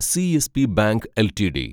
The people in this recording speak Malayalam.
CSB bank LTD